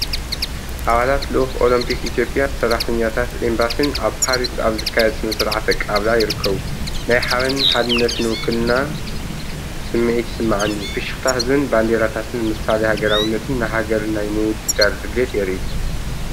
ኣባላት ልኡኽ ኦሎምፒክ ኢትዮጵያን ሰራሕተኛታት ኤምባሲን ኣብ ፓሪስ ኣብ ዝካየድ ስነ-ስርዓት ኣቀባብላ ይርከቡ። ናይ ሓበንን ሓድነትን ውክልናን ስምዒት ይስምዓኒ። ፍሽኽታ ህዝብን ባንዴራታትን ምሳሌ ሃገራውነትን ንሃገር ናይ ምውድዳር ድሌትን የርኢ፡፡